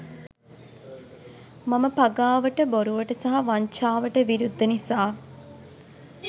මම පගාවට බොරුවට සහ වංචාවට විරුද්ද නිසා